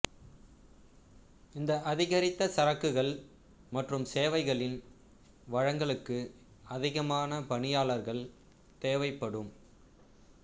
இந்த அதிகரித்த சரக்குகள் மற்றும் சேவைகளின் வழங்கலுக்கு அதிகமான பணியாளர்கள் தேவைப்படும்